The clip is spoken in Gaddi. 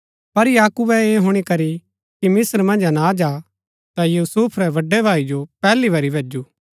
पर याकूबे ऐह हुणी करी की मिस्त्र मन्ज अनाज हा ता यूसुफ रै बड़ै भाई जो पैहली बरी भैजु